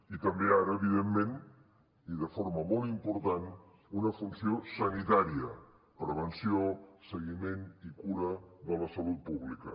i també ara evidentment i de forma molt important una funció sanitària prevenció seguiment i cura de la salut pública